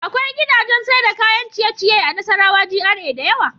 Akwai gidajan Saida kayan ciye ciye a nassarawa G.R.A dayawa